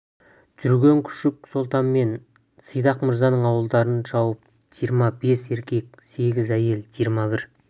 жүрген күшік сұлтан мен сидақ мырзаның ауылдарын шауып жиырма бес еркек сегіз әйел жиырма бір